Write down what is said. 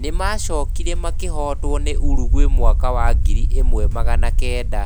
Nĩ maacokire makĩhootwo nĩ Uruguay mwaka wa ngiri ĩmwe magana kenda